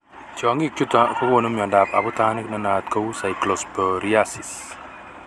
Tyong'ik chutok kokonu miondop abutanik nenaat kou cyclosporiasis.